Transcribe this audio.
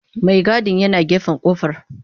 Maigadin yana gefen kofar.